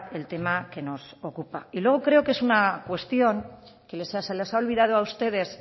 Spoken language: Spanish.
el tema que nos ocupa y luego creo que es una cuestión que les se les ha olvidado a ustedes